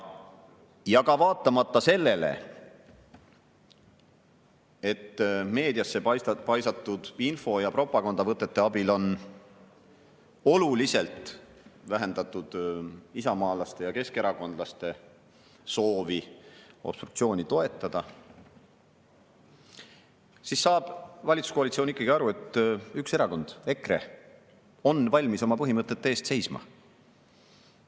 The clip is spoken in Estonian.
Samas, meediasse paisatud info ja propagandavõtete abil on küll oluliselt vähendatud isamaalaste ja keskerakondlaste soovi obstruktsiooni toetada, ent ikkagi saab valitsuskoalitsioon aru, et üks erakond, EKRE, on valmis oma põhimõtete eest seisma.